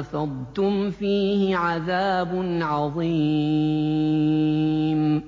أَفَضْتُمْ فِيهِ عَذَابٌ عَظِيمٌ